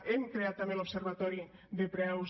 hem creat també l’observatori de preus